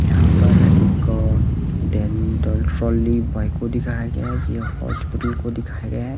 यहां पर एक देली वाई को दिखाया गया है ये हॉस्पिटल को दिखाया गया है।